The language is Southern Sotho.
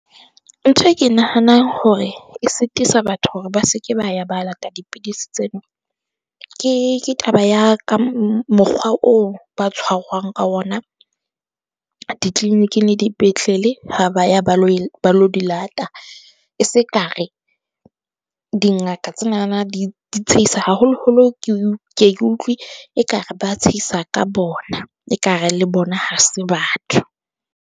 Ntho e ke nahanang hore e sitisa batho hore ba se ke ba ya ba lata dipidisi tseno. Ke, ke taba ya ka mokgwa oo ba tshwarwang ka ona di-clinic-ing le dipetlele ha ba ya ba lo ba lo di lata. E se ka re dingaka tsenana di tshehisa, haholo-holo ke ke utlwe e ka re ba tshehisa ka bona ekare le bona, ha se batho.